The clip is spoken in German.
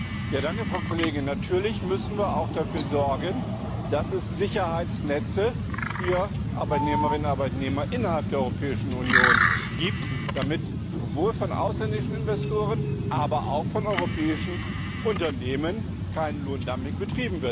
Frau Kollegin, natürlich müssen wir auch dafür sorgen, dass es Sicherheitsnetze für Arbeitnehmerinnen und Arbeitnehmer innerhalb der Europäischen Union gibt, damit sowohl von ausländischen Investoren als auch von europäischen Unternehmen kein Lohndumping betrieben wird.